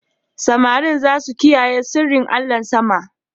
Samarin za su kiyaye sirrin allahn sama.